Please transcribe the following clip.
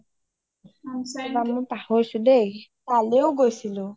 ৰবা মই পাহৰিছো দেই তালেও গৈছিলো